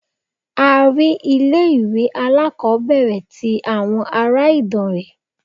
A rí ilé ìwé aláàkọ́bẹ̀rẹ̀ tí àwọn ará Ìdànrè.